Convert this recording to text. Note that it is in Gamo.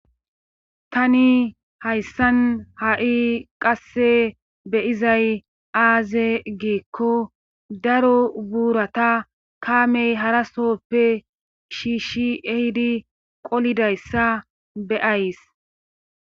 Tani hayssan ha'i qasse be'izay aaze giiko daro buurata kaame harasooppe shiishi ehidi qolidayssa be'ays.